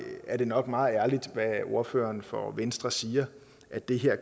er det nok meget ærligt hvad ordføreren for venstre siger at det her